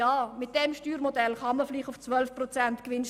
Mit diesem Modell kann man vielleicht auf die Gewinnsteuer setzen.